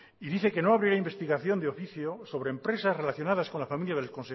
y dice que no habría investigación de oficio sobre empresas relacionadas con la familia del